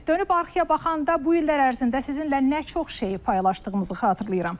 Dönüb arxaya baxanda bu illər ərzində sizinlə nə çox şeyi paylaşdığımızı xatırlayıram.